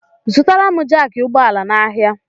Zụtara m jaaki ụgbọala n'ahia!!!